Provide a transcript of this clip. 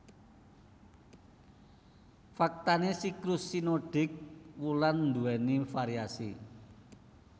Faktané siklus sinodik wulan nduwèni variasi